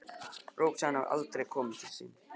Róbert sagði að hann hefði aldrei komið til sín.